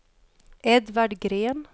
Edvard Green